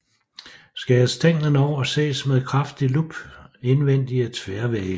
Skæres stænglen over ses med kraftig lup indvendige tværvægge